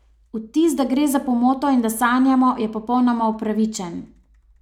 Vtis, da gre za pomoto in da sanjamo, je popolnoma upravičen.